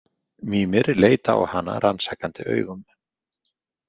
Mímir leit á hana rannsakandi augum.